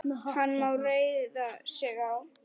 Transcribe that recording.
Hann má reiða sig á.